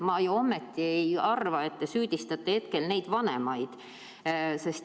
Ma ei arva, et te süüdistate neid vanemaid.